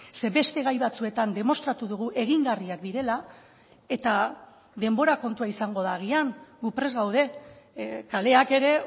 zeren beste gai batzuetan demostratu dugu egingarriak direla eta denbora kontua izango da agian gu prest gaude kaleak ere